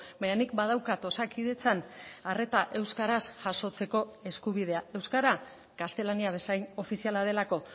baina nik badaukat osakidetzan arreta euskaraz jasotzeko eskubidea euskara gaztelania bezain ofiziala delako